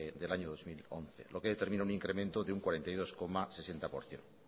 del año dos mil once lo que determina un incremento de un cuarenta y dos coma seis por ciento